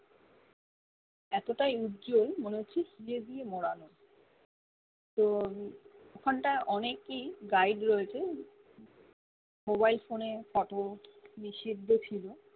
এতটা উজ্জ্বল মনে হচ্ছে হিরে দিয়ে মোড়ানো তো ওখান টা অনেকই guide রয়েছে mobile phone এ কাটো নিষিদ্ধ ছিলো